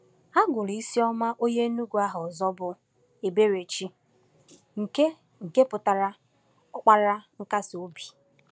A gụrụ Isioma onye Enugu aha ọzọ bụ Eberechi, nke nke pụtara “Ọkpara Nkasi Obi.”